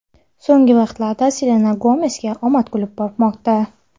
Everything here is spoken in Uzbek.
So‘nggi vaqtlarda Selena Gomesga omad kulib boqmoqda.